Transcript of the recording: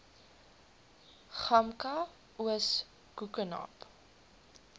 gamka oos koekenaap